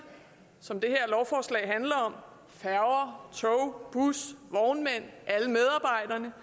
som det her lovforslag handler om færger tog busser vognmænd alle medarbejderne